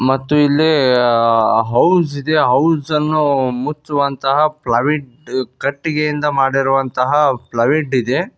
ಮತ್ತು ಇಲ್ಲಿ ಹೌಸ್ ಇದೆ ಹೌಸ್ ಅನ್ನು ಮುಚ್ಚುವಂತಹ ಪ್ಲವುಡ್ ಕಟ್ಟಿಗೆಯಿಂದ ಮಾಡಿರುವಂತಹ ಪ್ಲವುಡ್ ಇದೆ.